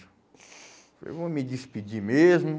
eu vou me despedir mesmo.